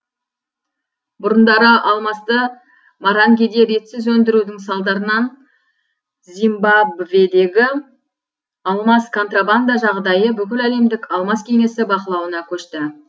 бұрындары алмасты марангеде ретсіз өндірудің салдарынан зимбабведегі алмаз контрабанда жағдайы бүкіләлемдік алмаз кеңесі бақылауына көшті